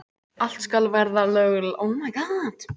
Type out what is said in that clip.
Allt skal vera löglegt.